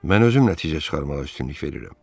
Mən özüm nəticə çıxarmağa üstünlük verirəm.